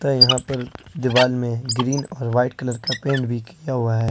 यहां पर दीवाल में ग्रीन और व्हाइट कलर का पेंट भी किया हुआ है।